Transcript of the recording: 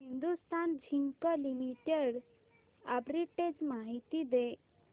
Hindustan zinc limited arbitrage माहिती दे